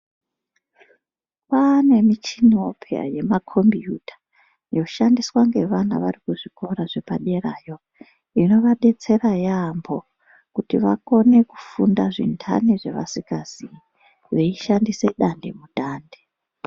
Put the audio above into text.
Kwane michiniwo pheya yemakombiyuta yoshandiswa ngevana vari kuzvikora zvepaderayo. Inoadetsera yaambo kuti vakone kufunda zvintani zvevasingazivi veishandise dandemutande.